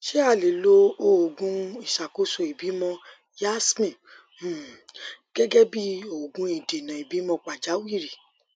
ṣé a lè lo òògùn ìṣàkóso ìbímọ yasmin um gẹgẹ bí òògùn ìdènà ìbímọ pàjáwìrì